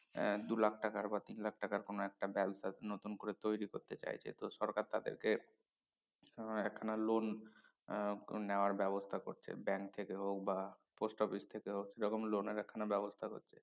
আহ দু লাখ টাকার বা তিন লাখ টাকার কোনো একটা ব্যবসা নতুন করে তৈরি করতে চাইছে তো সরকার তাদেরকে আহ একখানা loan আহ নেওয়ার ব্যবস্থা করছে bank থেকে হোক বা post office থেকে হোক এরকম লোনের একখানা ব্যবস্থা করছে